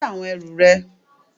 Gbé àwọn ẹrù rẹ